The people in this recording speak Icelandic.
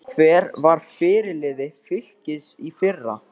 Hver var fyrirliði Fylkis í fyrra?